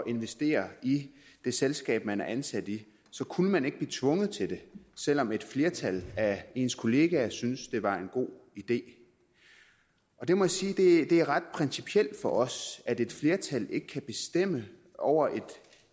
investere i det selskab man var ansat i så kunne man ikke blive tvunget til det selv om et flertal af ens kollegaer syntes at det var en god idé jeg må sige at det er ret principielt for os at et flertal ikke kan bestemme over